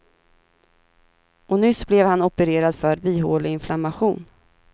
Och nyss blev han opererad för bihåleinflammation.